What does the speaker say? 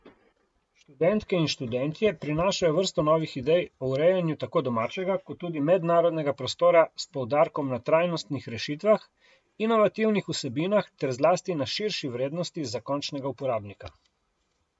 Študentke in študentje prinašajo vrsto novih idej o urejanju tako domačega kot tudi mednarodnega prostora s poudarkom na trajnostnih rešitvah, inovativnih vsebinah ter zlasti na širši vrednosti za končnega uporabnika.